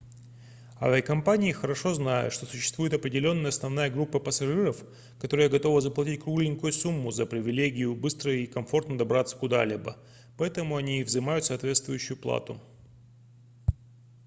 авиакомпании хорошо знают что существует определённая основная группа пассажиров которая готова заплатить кругленькую сумму за привилегию быстро и комфортно добраться куда-либо поэтому они и взимают соответствующую плату